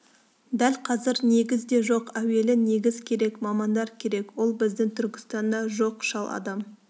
дәл қазір негіз де жоқ әуелі негіз керек мамандар керек ол біздің түркістанда жоқ шал адам